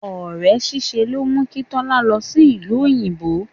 Ore ṣíṣe ló mú kí Tọ́lá lọ sí ìlú òyìnbó.